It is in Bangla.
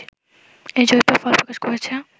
এই জরিপের ফল প্রকাশ করেছে